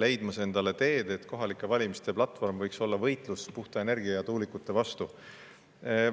rajamas endale teed, et kohalike valimiste platvorm võiks olla võitlus puhta energia ja tuulikute vastu.